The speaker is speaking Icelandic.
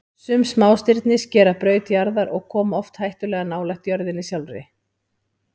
Sum smástirni skera braut jarðar og koma oft hættulega nálægt jörðinni sjálfri.